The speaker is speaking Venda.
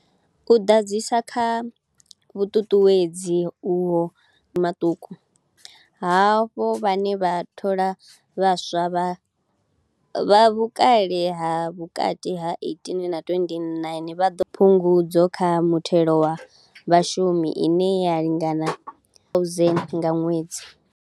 U ḓadzisa kha vhuṱuṱuwedzi uho kha mabindu maṱuku, havho vhane vha thola vhaswa vha, vha vhukale ha vhukati ha 18 na 29, vha ḓo fanela u wana Phungudzo kha Muthelo wa Vhashumi ine ya lingana R1 000 nga ṅwedzi.